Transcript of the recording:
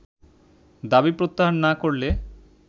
দাবি প্রত্যাহার না করলে